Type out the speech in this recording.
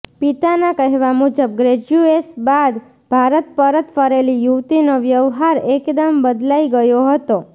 પિતાના કહેવા મુજબ ગ્રેજ્યુએશ બાદ ભારત પરત ફરેલી યુવતીનો વ્યવહાર એકદમ બદલાઇ ગયો હતો